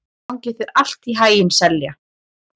Gangi þér allt í haginn, Selja.